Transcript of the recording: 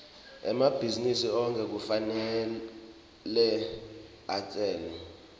emabhizinisi onkhe kufanele atsele